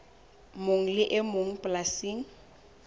mong le e mong polasing